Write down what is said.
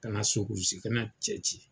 Ka na sokurusi kɛnɛ cɛci.